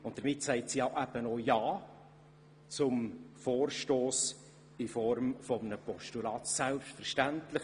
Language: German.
Deshalb sagt sie eben auch ja zum Vorstoss in Form eines Postulats.